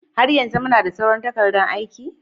Har yanzu muna da sauran takardan aiki?